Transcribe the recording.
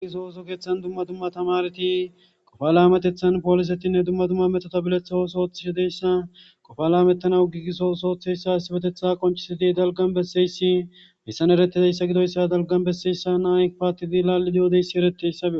gigiso ooso keeththan dumma dumma tamareti qofa laametethan poolisetinne dumma dumma metota biletha osoothishi deyssa qofalaametanaw gigiso osooththeyssa asibetetha qoncisidi dalgan besseyssi messan eretideyssa gidoyssa dalgan besseyssa naa paattidi laalli yo'odeyssi eretis.